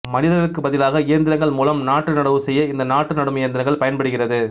மனிதர்களுக்கு பதிலாக இயந்திரங்கள் மூலம் நாற்று நடவு செய்ய இந்த நாற்று நடும் இயந்திரங்கள் பயன்படுகிறது